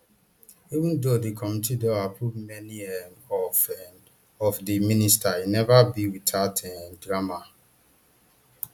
even tho di committee don approve many um of um of di ministers e neva be without um drama